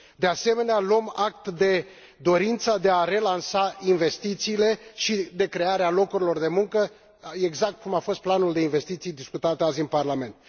De asemenea, luăm act de dorința de a relansa investițiile și de a crea locuri de muncă, exact cum a fost planul de investiții discutat azi în Parlament.